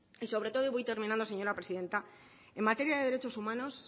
y sobre todo y voy terminando señora presidenta en materia de derechos humanos